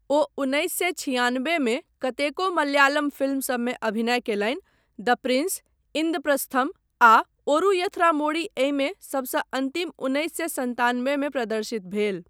ओ उन्नैस सए छिआनबे मे कतेको मलयालम फिल्मसबमे अभिनय कयलनि, द प्रिंस, इंद्रप्रस्थम आ ओरू यथरामोड़ी, एहिमे सबसँ अन्तिम उन्नैस सए सन्तानबे मे प्रदर्शित भेल।